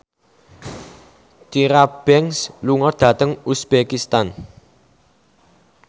Tyra Banks lunga dhateng uzbekistan